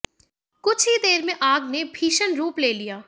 कुछ ही देर में आग ने भीषण रूप ले लिया